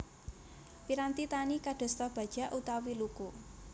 Piranti tani kadosta bajak utawi luku